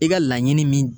I ka laɲini min